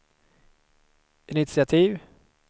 initiativ